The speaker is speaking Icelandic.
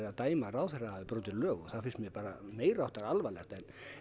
að dæma að ráðherra hafi brotið lög það finnst mér bara meiriháttar alvarlegt